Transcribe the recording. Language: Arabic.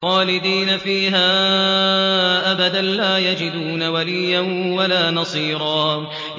خَالِدِينَ فِيهَا أَبَدًا ۖ لَّا يَجِدُونَ وَلِيًّا وَلَا نَصِيرًا